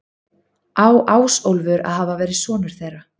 Á Ásólfur að hafa verið sonur þeirra.